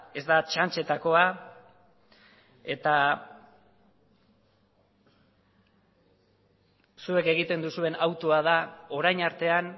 ez da txantxetakoa eta zuek egiten duzuen autua da orain artean